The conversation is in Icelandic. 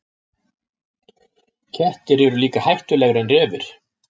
Kettir eru líka hættulegri en refir.